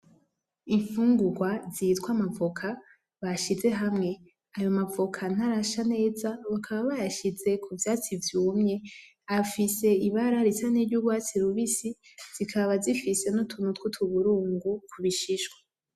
Infungurwa zitwa amavoka bashize hamwe ayo mavoka ntarasha neza bakaba bayashize k'uvyatsi vyumye, Afise ibara risa niryo urwatsi rubisi zikaba zifise n'utuntu twutuburungu k'ubishishwa.